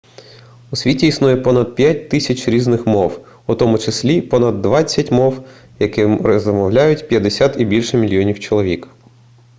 у світі існує понад 5000 різних мов у тому числі понад двадцять мов якими розмовляють 50 і більше мільйонів чоловік